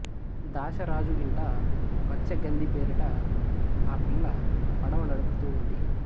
దాశ రాజు ఇంట మత్స్యగంధి పేరిట ఆ పిల్ల పడవ నడుపుతూ ఉంది